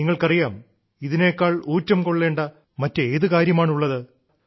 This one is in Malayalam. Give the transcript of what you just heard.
നിങ്ങൾക്കറിയാം ഇതിനേക്കാൾ ഊറ്റം കൊള്ളേണ്ട മറ്റേതു കാര്യമാണുള്ളത്